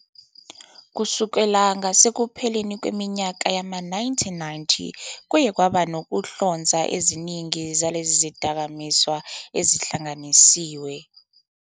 Kusukela ngasekupheleni kweminyaka yama-1990 kuye kwaba nokuhlonza eziningi zalezi zidakamizwa ezihlanganisiwe.